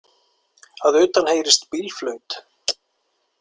Að utan heyrist bílflaut.